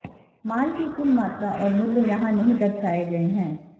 माल की कुल मात्रा और मूल्य यहाँ नहीं दर्शाए गए हैं